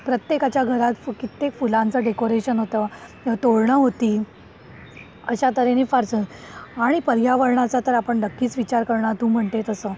प्रत्येकाच्या घरात कित्येक फुलांच डेकोरेशन होतं तोरणं होती अशा तर्हेने फार असं आणि पर्यावरणाचा तर आपण नक्कीच विचार करणार तू म्हणजे तसं.